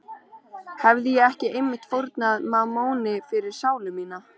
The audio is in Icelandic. Hefi ég ekki einmitt fórnað mammoni fyrir sálu mína?